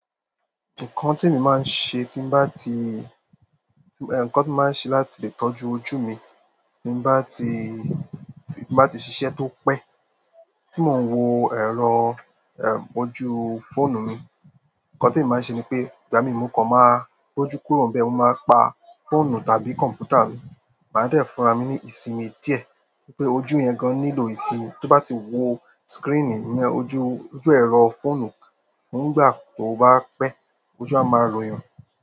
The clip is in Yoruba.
Nǹkan tí èmi máa ń ṣe ti n bati, ǹkan tí mo máa ń ṣe láti ilé ni ìtọ́jú ojú mi, tí n bati, tii n bá ti ṣiṣẹ́ tó pé. Tí mò ń wo ẹ̀rọ, ẹm, ojú fóònù mi, nǹkan tí èmi máa ń ṣe ni pé, ìgbà mi mo kan máa rójú kúrò n bẹ̀, mo máa pa fóònù tàbí computer mi, màá dẹ̀ fúnra mi ní ìsinmi díẹ̀ nítorí pé ojú yẹn gan nílò ìsinmi. Tó bá ti wo screen ìyẹn ojú, ojú ẹ̀rọ fóònù fún ìgbà tó bá pẹ́, ojú a máa royan.